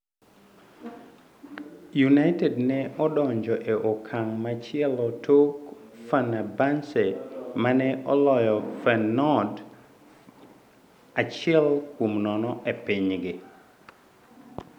United ne odonje e okamg' machielo tok Fenerbahce, mane oloyo Feyenoord achiel kuom nono e pinygi